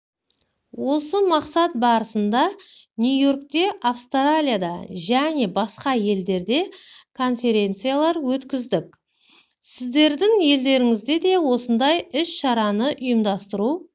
осы мақсат барысында нью-йоркте австралияда және басқа елдерде конференциялар өткіздік сіздердің елдеріңізде де осындай іс-шараны ұйымдастыру